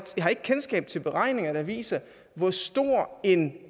jeg har ikke kendskab til beregninger der viser hvor stor en